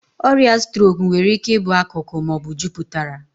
Ọrịa strok nwere ike ịbụ akụkụ ma ọ bụ juputara.